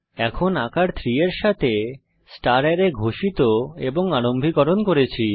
এখন আকার 3 এর সাথে স্টার অ্যারে ঘোষিত এবং আরম্ভীকরণ করেছি